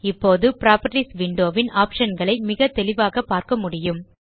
இப்போது properties window ன் optionகளை மிக தெளிவாக பார்க்க முடியும்